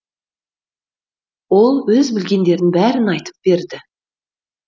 ол өз білгендерінің бәрін айтып берді